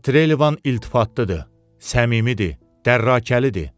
Amma Trelivan iltifatlıdır, səmimidir, dərrakəlidir.